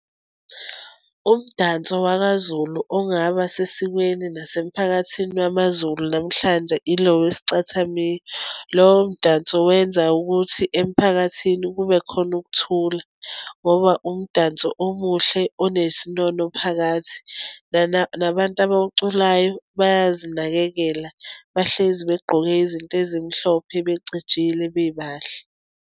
Umdanso wakaZulu ongaba sesikweni nasemphakathini wamaZulu namhlanje, ilo wesicathamiya. Lowo mdanso wenza ukuthi emphakathini kube khona ukuthula, ngoba umdanso omuhle, onesinono phakathi. Nabantu abawuculayo bayazinakekela, bahlezi begqoke izinto ezimhlophe, becijile, bebahle.